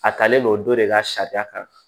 A talen don o don de ka sariya kan